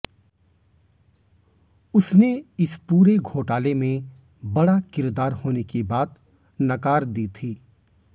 उसने इस पूरे घोटाले में बड़ा किरदार होने की बात नकार दी थी